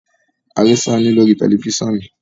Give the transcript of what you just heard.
a ri Sanni lori tẹlifisiọnu